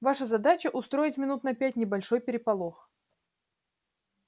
ваша задача устроить минут на пять небольшой переполох